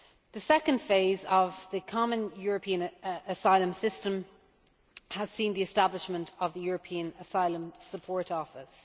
This second phase of the common European asylum system has seen the establishment of the European Asylum Support Office.